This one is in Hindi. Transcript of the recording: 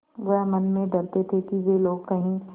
वह मन में डरते थे कि वे लोग कहीं